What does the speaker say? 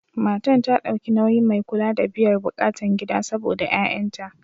Matan ta dauki nauyin mai kula da biyar bukatan gida saɓoda ƴa'ƴanta.